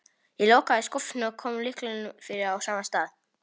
Ég lokaði skúffunni og kom lyklinum fyrir á sama stað.